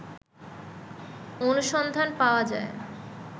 অনুসন্ধান পাওয়া যায়